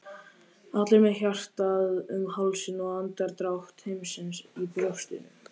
allir með hjartað um hálsinn og andardrátt heimsins í brjóstinu.